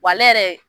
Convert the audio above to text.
Wa ale yɛrɛ